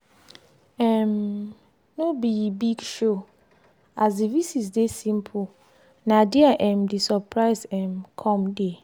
um no be big showas the visit dey simple na dia um the surprise um come dey.